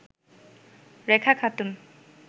Rekha Khatun